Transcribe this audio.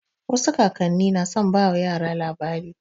Wasu kakan ni na son ba yara labarai.